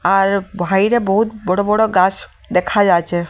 আর ভাইরে বহুত বড় বড় গাছ দেখা যাচ্ছে।